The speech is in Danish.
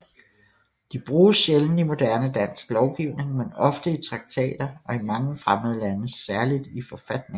De bruges sjældent i moderne dansk lovgivning men ofte i traktater og i mange fremmede lande særligt i forfatninger